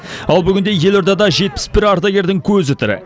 ал бүгінде елордада жетпіс бір ардагердің көзі тірі